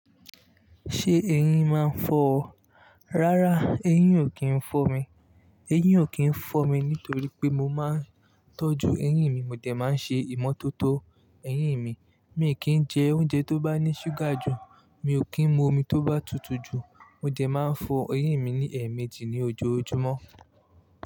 Ṣé eyín máa ń fọ ọ? Rárá, eyín ò kí ń fọ́ mi. Eyín ò kí ń fọ́ mi nítorí pé mo máa ń tọ́jú eyín mi, mo dẹ máa ń ṣe ìmọ́tótó eyín mi. Mi kì í jẹ oúnjẹ tó bá ní ṣúgà jù, mi ò kí ń mu omi tó bá tutù jù. Mode máa ń fọ eyín mi ní ẹ̀ẹ̀méjì ní ojoojúmọ́